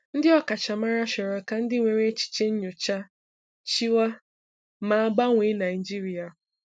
Ndị ọkachamara chọrọ ka ndị nwere echiche nnyọcha chịwa, ma gbanwee Naijiria.